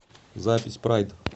запись прайд